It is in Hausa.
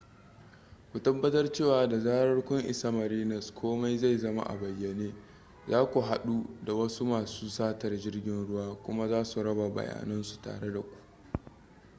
ku tabbatar cewa da zarar kun isa marinas komai zai zama a bayyane za ku haɗu da wasu masu satar jirgin ruwa kuma za su raba bayanansu tare da ku